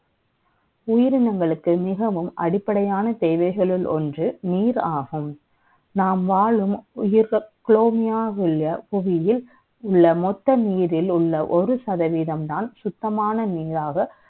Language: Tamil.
உயிரினங்களுக்கு மிகவும் அடிப்படையான தேவைகள் ஒன்று நீர் ஆகும் நாம் வாழும் பூலேமிய உள்ள புவியில் மொத்த நீரில் உள்ள ஒரு சதவீதம் தான் சுத்தமாக நீராக